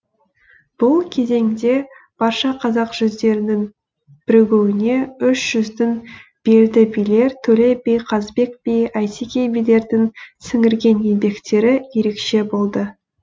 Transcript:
бұл кезеңде барша қазақ жүздерінің бірігуіне үш жүздің белді билер төле би қазыбек би әйтеке билердің сіңірген еңбектері ерекше болды